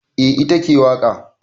Eh ita ke waƙa.